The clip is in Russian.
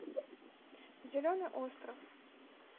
зеленый остров